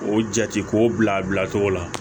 O jate k'o bila a bilacogo la